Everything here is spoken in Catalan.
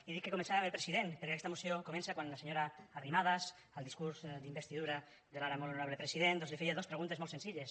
i dic que començava amb el president perquè aquesta moció comença quan la senyora arrimadas al discurs d’investidura de l’ara molt honorable president doncs li feia dos preguntes molt senzilles